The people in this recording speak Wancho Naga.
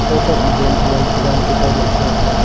kawtok ma giem cheyong pe yan ke karon .]